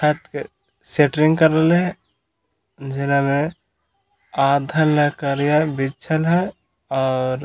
shuttering कर रहले हे जेलॉले आधा ले लकड़िया बिछल है और --